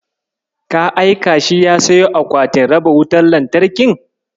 Ka aika shi ya siyo akwatin raba wutar lantarkin?